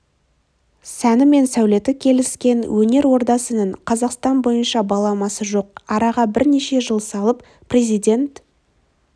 сәні мен сәулеті келіскен өнер ордасының қазақстан бойынша баламасы жоқ араға бірнеше жыл салып президент